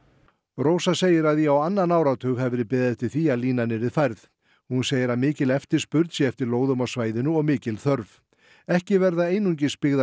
rósa segir að í á annan áratug hafi verið beðið eftir því að línan yrði færð hún segir að mikil eftirspurn sé eftir lóðum á svæðinu og mikil þörf ekki verða einungis byggðar